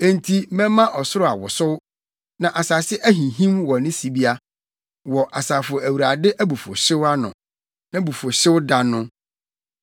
Enti mɛma ɔsoro awosow; na asase ahinhim wɔ ne sibea wɔ Asafo Awurade abufuwhyew ano nʼabufuwhyewda no.